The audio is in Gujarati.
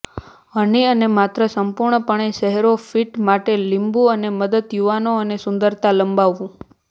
હની અને માત્ર સંપૂર્ણપણે ચહેરો ફિટ માટે લીંબુ અને મદદ યુવાનો અને સુંદરતા લંબાવવું